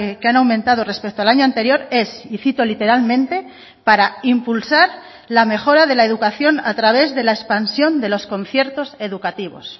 que han aumentado respecto al año anterior es y cito literalmente para impulsar la mejora de la educación a través de la expansión de los conciertos educativos